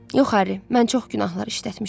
Yox Harry, mən çox günahlar işlətmişəm.